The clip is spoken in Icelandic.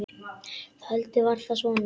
Heldur var það svona!